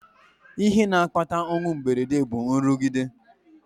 Ihe na-akpata ọnwụ mberede bụ nrụgide